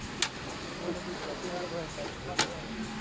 કોઈ કહેતું હોય તો પણ